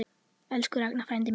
Elsku Ragnar frændi minn.